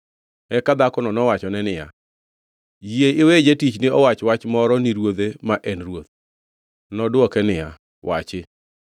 Eka dhakono nowachone niya, “Yie iwe jatichni owach wach moro ni ruodhe ma en ruoth.” Nodwoke niya, “Wachi.”